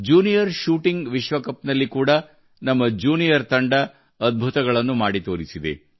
junior shooting ವಿಶ್ವ cup ನಲ್ಲಿ ಕೂಡಾ ನಮ್ಮ ಜ್ಯೂನಿಯರ್ ತಂಡ ಅದ್ಭುತಗಳನ್ನು ಮಾಡಿ ತೊರಿಸಿದೆ